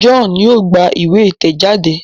John yóò gbà ìwé itẹjade.